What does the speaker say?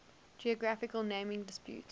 geographical naming disputes